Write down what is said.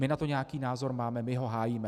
My na to nějaký názor máme, my ho hájíme.